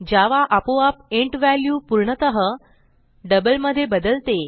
जावा आपोआप int value पूर्णतः double मधे बदलते